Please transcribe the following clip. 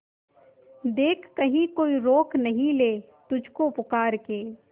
देख कहीं कोई रोक नहीं ले तुझको पुकार के